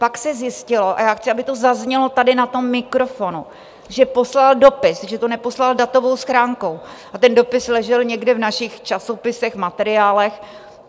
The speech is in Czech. Pak se zjistilo - a já chci, aby to zaznělo tady na tom mikrofonu - že poslal dopis, že to neposlal datovou schránkou, a ten dopis ležel někde v našich časopisech, materiálech.